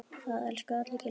Það elskuðu allir Gylfa.